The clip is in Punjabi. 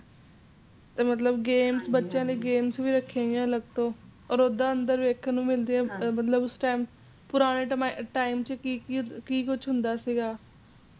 ਤੇ ਮਤਲਬ ਬਚਿਆ ਦੀ games ਵੀ ਰਖਿਆ ਹੋਇਆ ਅਲਗ ਤੋ ਹੋਰ ਅੰਦਰ ਵੇਖਣ ਨੂੰ ਮਿਲਦਾ ਉੱਸ time ਪੁਰਾਣੇ ਟਾਈਮ ਚ ਕਿ ਕੁਝ ਹੁੰਦਾ ਸੀਗਾ